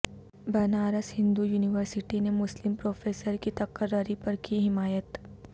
Banaras Hindu university نے مسلم professor کی تقرری پر کی حمایت